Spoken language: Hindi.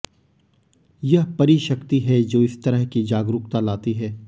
यह परी शक्ति है जो इस तरह की जागरूकता लाती है